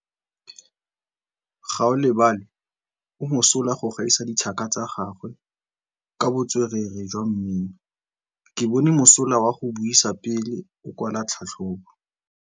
Gaolebalwe o mosola go gaisa dithaka tsa gagwe ka botswerere jwa mmino. Ke bone mosola wa go buisa pele o kwala tlhatlhobô.